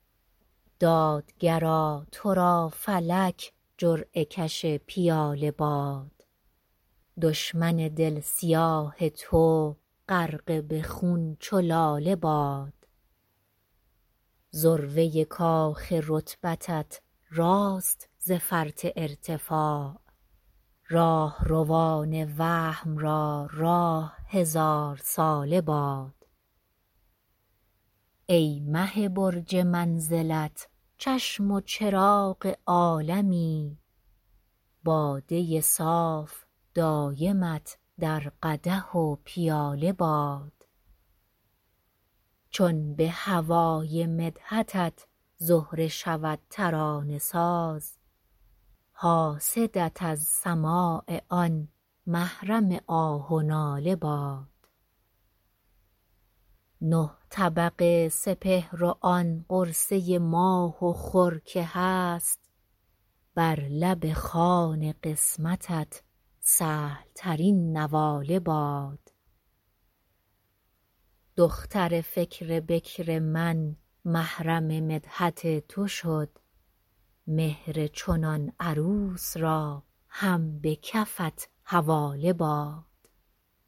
دادگرا تو را فلک جرعه کش پیاله باد دشمن دل سیاه تو غرقه به خون چو لاله باد ذروه کاخ رتبتت راست ز فرط ارتفاع راهروان وهم را راه هزار ساله باد ای مه برج منزلت چشم و چراغ عالمی باده صاف دایمت در قدح و پیاله باد چون به هوای مدحتت زهره شود ترانه ساز حاسدت از سماع آن محرم آه و ناله باد نه طبق سپهر و آن قرصه ماه و خور که هست بر لب خوان قسمتت سهلترین نواله باد دختر فکر بکر من محرم مدحت تو شد مهر چنان عروس را هم به کفت حواله باد